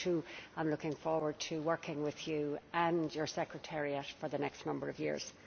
I too am looking forward to working with her and her secretariat for the next number of years.